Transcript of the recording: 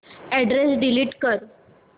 address delete कर